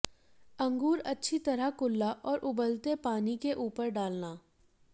अंगूर अच्छी तरह कुल्ला और उबलते पानी के ऊपर डालना